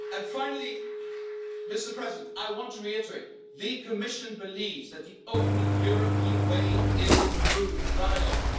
Finally, I want to reiterate that the Commission believes that the only European way is through dialogue.